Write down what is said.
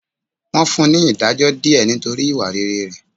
Wọ́n fún ní ìdájọ́ díẹ̀ nítorí ìwà rere rẹ̀.